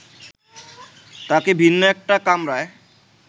তাঁকে ভিন্ন একটা কামরায়